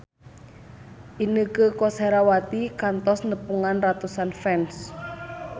Inneke Koesherawati kantos nepungan ratusan fans